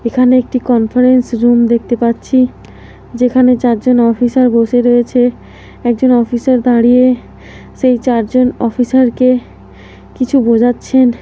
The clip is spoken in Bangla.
এখানে একটি কনফারেন্স রুম দেখতে পাচ্ছি যেখানে চারজন অফিসার বসে রয়েছে একজন অফিসার দাঁড়িয়ে সেই চারজন অফিসার কে কিছু বোঝাচ্ছেন--